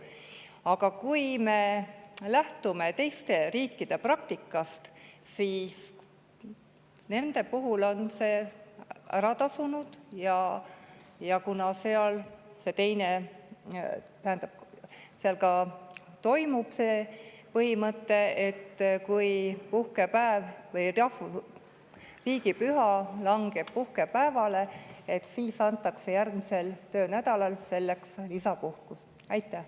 Aga kui me lähtume teiste riikide praktikast, siis on nende puhul see ära tasunud, ja ka seal toimib põhimõte, et kui riigipüha langeb puhkepäevale, antakse järgmisel töönädalal selle eest lisapuhkust.